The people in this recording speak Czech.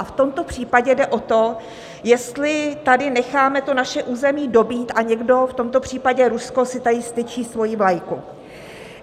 A v tomto případě jde o to, jestli tady necháme to naše území dobýt a někdo - v tomto případě Rusko - si tady vztyčí svoji vlajku.